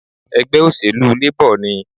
Ègbé òṣèlú Labor ni